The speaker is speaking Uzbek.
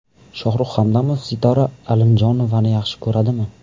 Shohrux Hamdamov Sitora Alimjonovani yaxshi ko‘radimi?